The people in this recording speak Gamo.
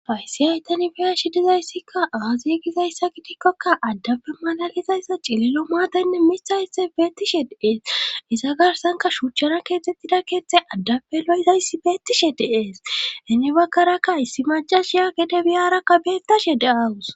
Faysi haytani fiya shi dizayssikka aazie gizayssa gidikkokka addafe malalizayssa cililo maadaynne mitha issay beettishe deees isa garsanka shuuchchana keettxettida keeththay addape lo'izayssi beettishe deees hinni bagkarakka issi majashiya gede biyarakka beettashe de'awus.